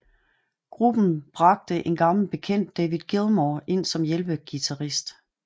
Gruppen bragte en gammel bekendt David Gilmour ind som hjælpeguitarist